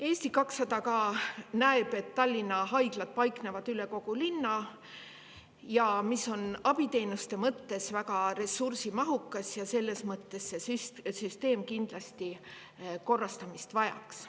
Eesti 200 näeb, et Tallinna haiglad paiknevad üle kogu linna, mis on abiteenuste mõttes väga ressursimahukas, ja selles mõttes vajaks see süsteem kindlasti korrastamist.